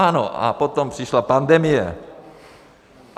Ano, a potom přišla pandemie.